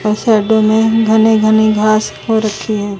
इन साइडो में घने घने घास हो रखे हैं।